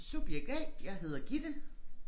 Subjekt A jeg hedder Gitte